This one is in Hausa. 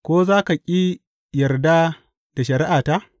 Ko za ka ƙi yarda da shari’ata?